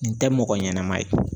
N tɛ mɔgɔ ɲɛnama ye